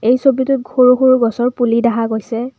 এই ছবিটোত সৰু সৰু গছৰ পুলি দেখা গৈছে।